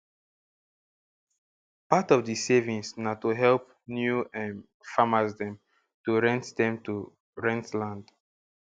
part of di savings na to help new um farmers dem to rent dem to rent land